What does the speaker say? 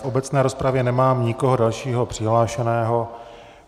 V obecné rozpravě nemám nikoho dalšího přihlášeného.